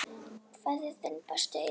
Kveðja, þinn besti, Eyþór Smári.